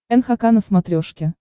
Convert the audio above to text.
нхк на смотрешке